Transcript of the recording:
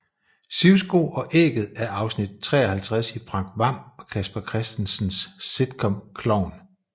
Sivsko og ægget er afsnit 53 i Frank Hvam og Casper Christensens sitcom Klovn